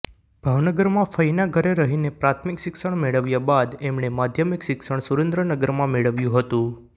ભાવનગરમાં ફઇના ઘરે રહીને પ્રાથમિક શિક્ષણ મેળવ્યા બાદ એમણે માધ્યમિક શિક્ષણ સુરેન્દ્રનગરમાં મેળવ્યું હતું